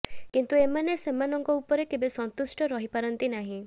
କିନ୍ତୁ ଏମାନେ ସେମାନଙ୍କ ଉପରେ କେବେ ସନ୍ତୁଷ୍ଟ ରହିପାରନ୍ତି ନାହିଁ